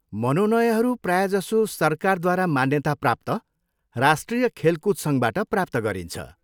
मनोनयहरू प्रायजसो सरकारद्वारा मान्यताप्राप्त राष्ट्रिय खेलकुद सङ्घबाट प्राप्त गरिन्छ।